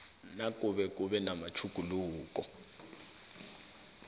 nakube kube namatjhuguluko